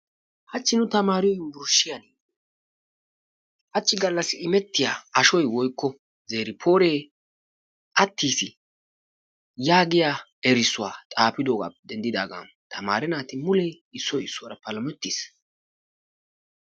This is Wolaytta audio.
Hachchi nu taamaariyo yunburshiyaan hachchi gallassi immettiya ashoy woikko zerifore attiis yaagiya erissuwa xaafidoogappe denddidaagan tamaare naati mulee issoy issuwara palamettiis.